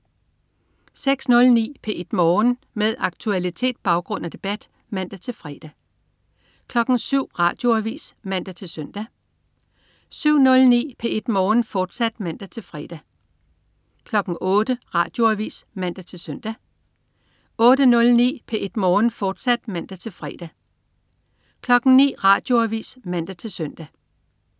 06.09 P1 Morgen. Med aktualitet, baggrund og debat (man-fre) 07.00 Radioavis (man-søn) 07.09 P1 Morgen, fortsat (man-fre) 08.00 Radioavis (man-søn) 08.09 P1 Morgen, fortsat (man-fre) 09.00 Radioavis (man-søn)